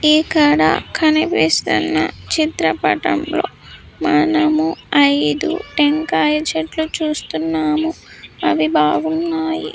ఇక్కడ కనిపిస్తున్న చిత్ర పటం లో మనము ఐదు టెంకాయ చెట్లు చూస్తున్నాము అవి బాగున్నాయి.